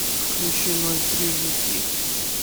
включи ноль три жуки